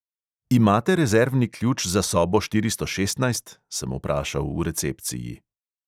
"Imate rezervni ključ za sobo štiristo šestnajst?" sem vprašal v recepciji.